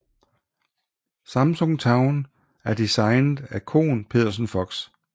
Samsung Town er designet af Kohn Pedersen Fox